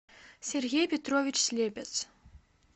сергей петрович слепец